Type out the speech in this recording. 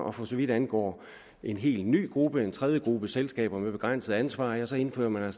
og for så vidt angår en helt ny gruppe en tredje gruppe selskaber med begrænset ansvar ja så indfører man